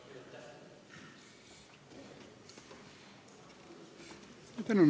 Jüri Adams, palun!